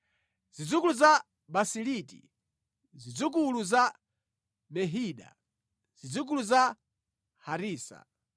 Zidzukulu za Baziliti, zidzukulu za Mehida, zidzukulu za Harisa,